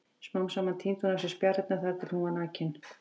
Smám saman tíndi hún af sér spjarirnar þar til hún var nakin.